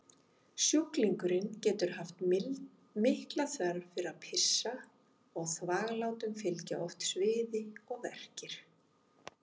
Sjúklingurinn getur haft mikla þörf fyrir að pissa og þvaglátum fylgja oft sviði og verkir.